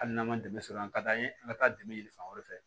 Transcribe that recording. Hali n'an man dɛmɛ sɔrɔ an ka d'an ye an ka taa dɛmɛ ɲini fan wɛrɛ fɛ